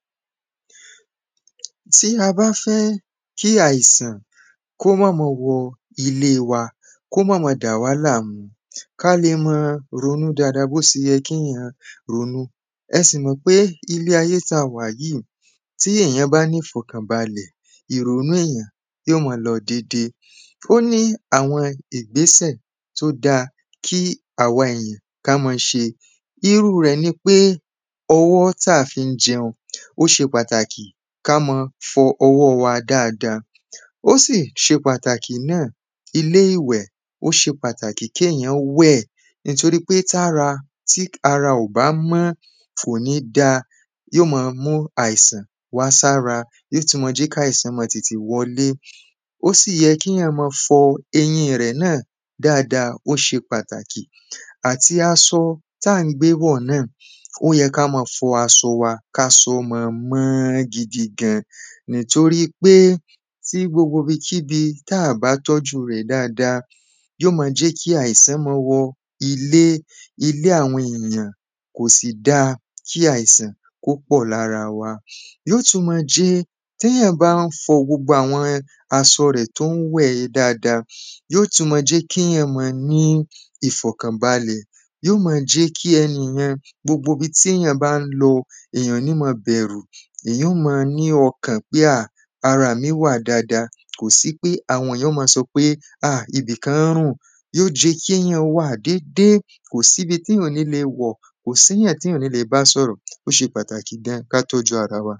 Tí a bá fẹ́ kí àìsàn kó mọ́ mọ wọ ilé wa kó má má dà wá láàmú ká le mọ́ ronú dáàda bó se yẹ kéyàn má ronú. Ẹ sì mọ̀ pé ilé ayé tí a wà yìí tí èyàn bá ní ìfọ̀kànbalẹ̀ ìrònú èyàn yó mọ lọ dédé. O ní àwọn ìgbésẹ̀ tó dá kí àwọn èyàn ká mọ́ ṣe irú rẹ̀ nipé ọwọ́ tá fí ń jẹun ó ṣe pàtàkì kámọ́ fọ ọwọ́ wa dáada ó sì ṣe pàtàkì náà. Ilé ìwẹ̀ ó ṣe pàtàkì kéyàn wẹ̀ nítorípé tára tí ara ò bá mọ́ kò ní dá yọ́ mọ́ mú àìsàn wá sára yó sì mọ́ jẹ́ kí àìsàn mọ́ tètè wọlé. Ó sì yẹ kíyàn mọ́ fọ eyín rẹ̀ náà dáada ó ṣe pàtàkì àti asọ tí à ń gbé wọ̀ náà. Ó yẹ ká mọ fọ asọ wa kásọ wa mọ́ mọ́ gidi gã nítorípé tí gbogbo ibi kíbi tá bá tọ́jú rẹ̀ dáada yó mọ jẹ́ kí àìsàn mọ́ wọ ilé ilé àwọn èyàn kò sì dá kí àìsàn kó pọ̀ lára wa. Yó tún má jẹ́ téyàn bá ń fọ gbogbo àwọn asọ rẹ̀ tó ń wẹ̀ dáada yó tún mọ́ jẹ́ kéyàn mọ́ ní ìfọ̀kànbálẹ̀ yó mọ́ jẹ́ kí ẹ̀niyẹn gbogbo ibi téyàn bá ń lọ èyàn ò ní mọ́ bẹ̀rù èyàn ó mọ ní ọkàn pé a ara mi wà dáada kò sí pé àwọn èyàn ó mọ sọ wípé á ibìkan ń rùn yó jẹ́ kéyàn wà dédé kò sí bi téyàn ò ní le wọ̀ kò síyàn téyàn ò ní le bá sọ́rọ̀ ó ṣe pàtàkì gan ká tọ́jú ara wa.